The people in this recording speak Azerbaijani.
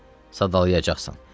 Bəli, sadalayacaqsan.